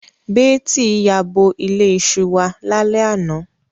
Beeti yabo ile iṣu wa lale ana